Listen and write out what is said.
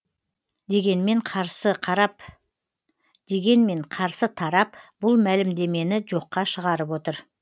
дегенмен қарсы тарап бұл мәлімдемені жоққа шығарып отыр